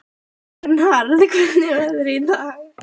Vernharð, hvernig er veðrið í dag?